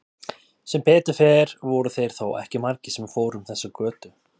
Sem betur fer voru þeir þó ekki margir sem fóru um þessa götu.